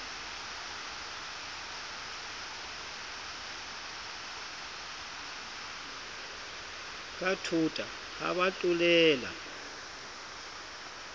ka thota ha ba tlolela